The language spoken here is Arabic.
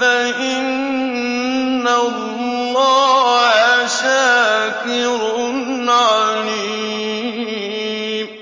فَإِنَّ اللَّهَ شَاكِرٌ عَلِيمٌ